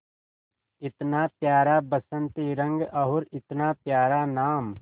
इतना प्यारा बसंती रंग और इतना प्यारा नाम